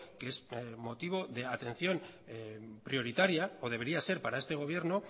que es motivo de atención prioritaria o debería de ser para este gobierno